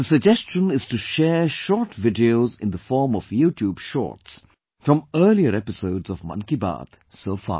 The suggestion is to share short videos in the form of YouTube Shorts from earlier episodes of 'Mann Ki Baat' so far